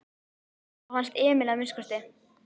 Það fannst Emil að minnsta kosti.